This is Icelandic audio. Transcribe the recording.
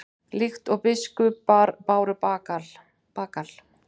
Líkt og biskupar báru bagal?